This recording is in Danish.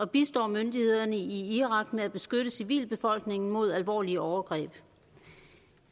bistår myndighederne i irak med at beskytte civilbefolkningen mod alvorlige overgreb